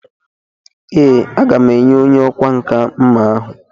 Ee, a ga m enye onye ọkwá nkà mma ahụ..